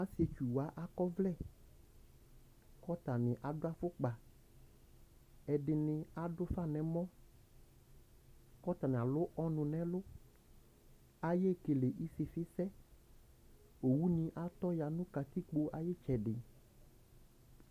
Asɩetsu wanɩ akɔ ɔvlɛ, kʋ atanɩ adʋ afʋkpa Ɛdɩnɩ adʋ ufa nʋ ɛmɔ, kʋ atanɩ alʋ ɔnʋ nʋ ɛlʋ Ayekele ɩsɩfɩ sɛ Oɣʋ nɩ atɔ ya nʋ katikpo ayʋ ɩtsɛdɩ